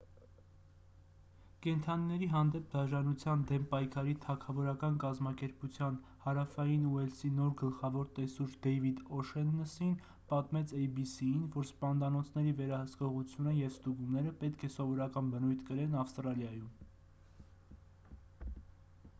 կենդանիների հանդեպ դաժանության դեմ պայքարի թագավորական կազմակերպության հարավային ուելսի նոր գլխավոր տեսուչ դեյվիդ օ'շեննըսին պատմեց էյ-բի-սի-ին որ սպանդանոցների վերահսկողությունը և ստուգումները պետք է սովորական բնույթ կրեն ավստրալիայում